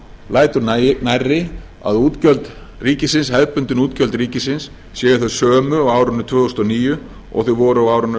lætur nærri að hefðbundin útgjöld ríkisins séu þau sömu á árinu tvö þúsund og níu og þau voru á árinu